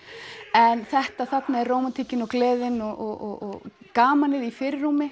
en þetta þarna er rómantíkin og gleðin og gamanið í fyrirrúmi